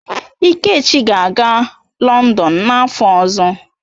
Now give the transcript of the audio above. Ikechi ga-aga Lọndon n'afọ ọzọ.